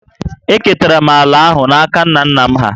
Eketara m ala ahụ n’aka nna nna m hà